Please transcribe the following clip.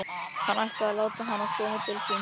Hann ætlaði að láta hana koma til sín.